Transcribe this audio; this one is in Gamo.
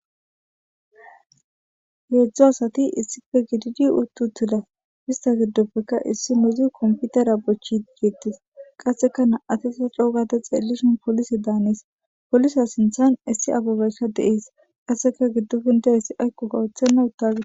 Heedzdzo asati issife gididi uttutida pista giddoppeka issi mezi komfutera bochi geettis qasseka na'atesa coogade xeellishon polisi daanes polisa sinthan issi ababeyska deees qasseka giddo pindeyssi aykqo kawoththenna uttagid.